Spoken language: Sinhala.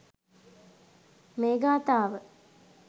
මේ ගාථාව